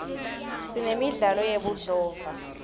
sinemidlalo yebudlova